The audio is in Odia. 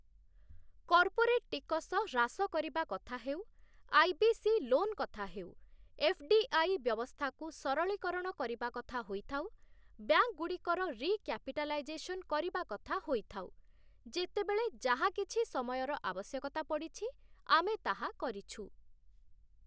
କର୍ପୋରେଟ୍ ଟିକସ ହ୍ରାସ କରିବା କଥା ହେଉ, ଆଇ.ବି.ସି. ଲୋନ୍ କଥା ହେଉ, ଏଫ୍‌.ଡ଼ି.ଆଇ. ବ୍ୟବସ୍ଥାକୁ ସରଳୀକରଣ କରିବା କଥା ହୋଇଥାଉ, ବ୍ୟାଙ୍କ୍‌ଗୁଡ଼ିକର ରିକ୍ୟାପିଟାଲାଇଜେସନ୍ କରିବା କଥା ହୋଇଥାଉ, ଯେତେବେଳେ ଯାହା କିଛି ସମୟର ଆବଶ୍ୟକତା ପଡ଼ିଛି ଆମେ ତାହା କରିଛୁ ।